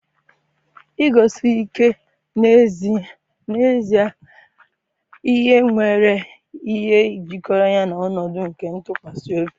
iguzosi ike n'ezi ihe nwere ihe jikọrọ ya na ọnọdụ nke ntụkwasị obi.